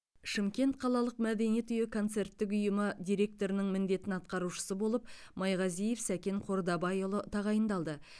шымкент қалалық мәдениет үйі концерттік ұйымы директорының міндетін атқарушысы болып майғазиев сәкен қордабайұлы тағайындалды